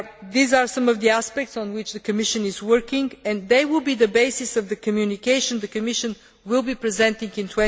These are some of the aspects on which the Commission is working and they will be the basis of the communication the Commission will be presenting in